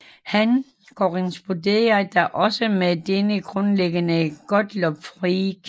Han korresponderede da også med dennes grundlægger Gottlob Frege